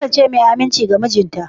Ta kasance mai aminci ga mijinta?